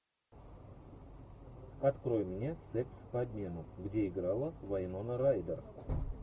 открой мне секс по обмену где играла вайнона райдер